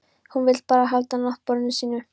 Hún vill bara halda náttborðinu sínu.